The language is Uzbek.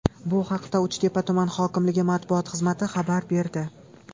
Bu haqda Uchtepa tuman hokimligi matbuot xizmati xabar berdi .